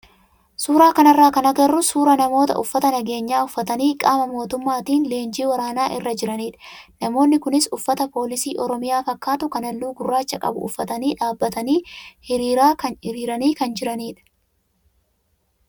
Suuraa kanarraa kan agarru suuraa namoota uffata nageenyaa uffatanii qaama mootummaatiin leenjii waraanaa irra jiranidha. Namoonni kunis uffata poolisii oromiyaa fakkaatu kan halluu gurraacha qabu uffatanii dhaabbatanii hiriiraanii kan jiranidha.